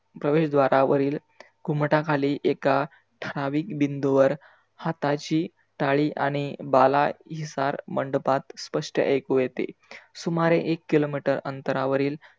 प्रवेशद्वारावरील घुमटाखाली एका ठरावीक बिंदूवर हाताची टाळी आणि भालासार मंडपात स्पष्ट ऐकू येते. सुमारे एक किलो मिटर अंतरावरील